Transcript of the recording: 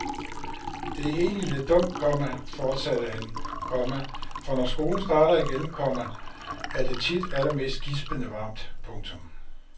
Det er egentlig lidt dumt, komma fortsatte han, komma for når skolen starter igen, komma er det tit allermest gispende varmt. punktum